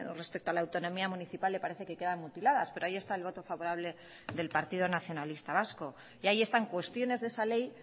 respecto a la autonomía municipal le parece que quedan mutiladas pero ahí está el voto favorable del partido nacionalista vasco y ahí están cuestiones de esa ley